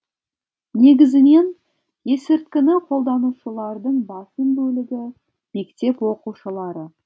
негізінен есірткіні қолданушылардың басым бөлігі мектеп оқушылары